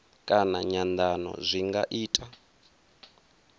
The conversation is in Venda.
kana nyandano zwi nga ita